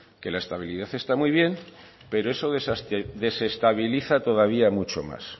que la estabilidad está muy bien pero eso desestabiliza todavía mucho más